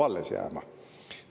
– peab alles jääma.